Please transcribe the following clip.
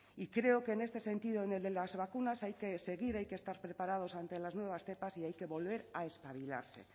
y creo que en este sentido en el de las vacunas hay que seguir hay que estar preparados ante las nuevas cepas y hay que volver a espabilarse